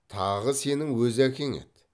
тағы сенің өз әкең еді